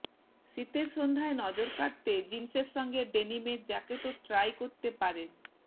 শীতের সন্ধ্যায় নজর কাড়তে জিন্সের সঙ্গে ডেনিমের জ্যাকেটও ট্রাই করতে পারেন